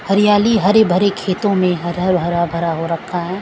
हरियाली हरे भरे खेतों में हर हरा भरा हो रखा है।